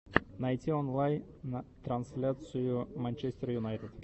найди онлайн трансляцию манчестер юнайтед